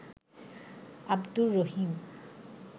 Abdur Rahim